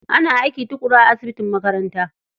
Ana aiki tuƙuru a asibitin makaranta.